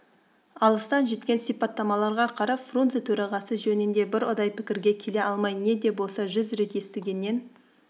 алыстан жеткен сипаттамаларға қарап фрунзе төрағасы жөнінде бір ұдай пікірге келе алмай не де болса жүз рет естігеннен